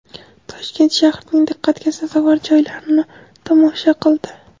Toshkent shahrining diqqatga sazovor joylarini tomosha qildi.